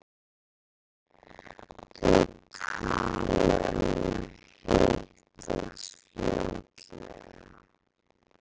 Þau tala um að hittast aftur fljótlega.